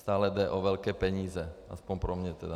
Stále jde o velké peníze, aspoň pro mě tedy.